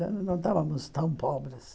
Não estávamos tão pobres.